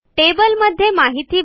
टेबलमध्ये माहिती भरा